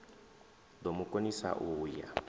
do mu konisa u ya